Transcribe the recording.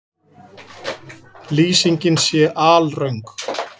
Lýsingin sé alröng